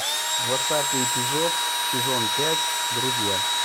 двадцатый эпизод сезон пять друзья